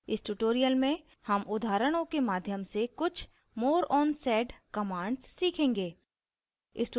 इस tutorial में हम उदाहरणों के माध्यम से कुछ more on sed commands सीखेंगे